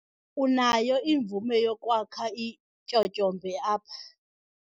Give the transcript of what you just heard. Unayo imvume yokwakha ityotyombe apha!